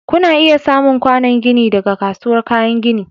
Kuna iya samun kwanon gini daga kasuwar kayan gini.